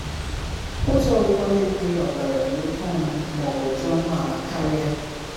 Ụzọ ọgwụgwọ na-enweghị ọbara dị oke ọnụ ma ọ bụ dị ọnụ ala karịa?